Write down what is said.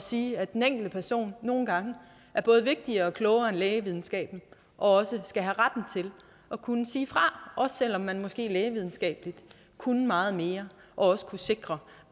sige at den enkelte person nogle gange er både vigtigere og klogere end lægevidenskaben og også skal have retten til at kunne sige fra også selv om man måske lægevidenskabeligt kunne meget mere og også kunne sikre